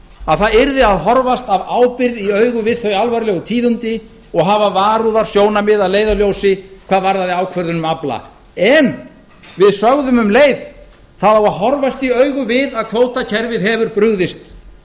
að það yrði að horfast af ábyrgð í augu við þau alvarlegu tíðindi og hafa varúðarsjónarmið að leiðarljósi hvað varðaði ákvörðun um afla en við sögðum um leið það á að horfast í augu við að kvótakerfið hefur brugðist